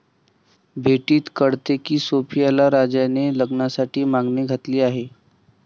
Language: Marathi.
भेटीत कळते की सोफियाला राजाने लग्नासाठी मागणी घातली आहे.